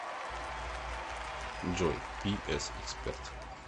джой пи эс эксперт